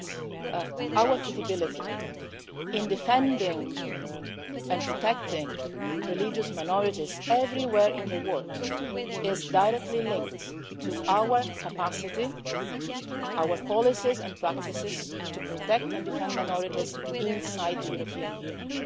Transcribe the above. It is that our credibility in defending and protecting religious minorities everywhere in the world is directly linked to our capacity, our policies and practices, to protect and defend minorities inside the European Union